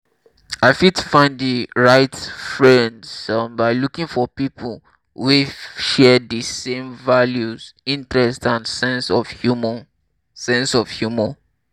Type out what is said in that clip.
i fit find di right friends um by looking for people wey share di same values interests and sense of humor. sense of humor.